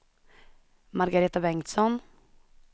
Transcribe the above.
Margareta Bengtsson